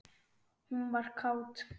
Hún var kát.